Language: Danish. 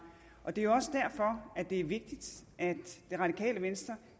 det er jo også derfor at det er vigtigt at det radikale venstre